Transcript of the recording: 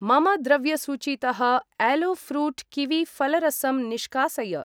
मम द्रव्यसूचीतः yellow fruit kiwi फलरसं निष्कासय।